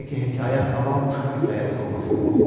Təki hekayə avam uşaq hekayəsi olmasın.